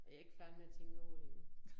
Og jeg ikke færdig med at tænke over det endnu